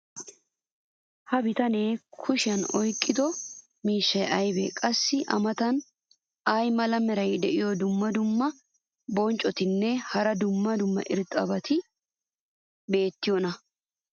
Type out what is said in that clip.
ha bitanee kushiyan oyqqido miishshay aybee? qassi a matan ay mala meray diyo dumma dumma qommo bonccotinne hara dumma dumma irxxabati beetiyoonaa?